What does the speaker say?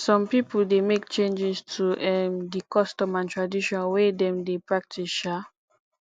some pipo de make changes to um di custom and tradition wey dem de practice um